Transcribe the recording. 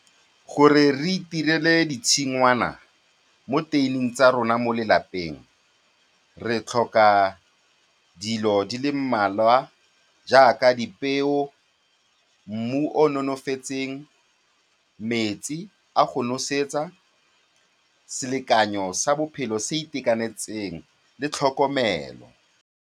Gore re itirele ditshingwana mo tuin-ing tsa rona mo lelapeng, re tlhoka dilo di le mmalwa jaaka dipeo, mmu o o nonofetseng, metsi a go nosetsa, selekanyo sa bophelo se se itekanetseng le tlhokomelo.